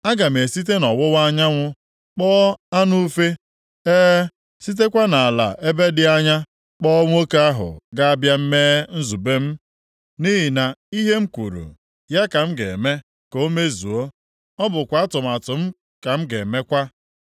Aga m esite nʼọwụwa anyanwụ kpọọ anụ ufe, e, sitekwa nʼala ebe dị anya kpọọ nwoke + 46:11 Sairọs, ka a na-ekwu ihe banyere ya nʼebe a. ahụ ga-abịa mee nzube m. Nʼihi na ihe m kwuru ya ka m ga-eme ka o mezuo; ọ bụkwa atụmatụ m ka m ga-emekwa.